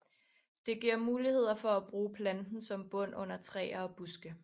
Det giver muligheder for at bruge planten som bund under træer og buske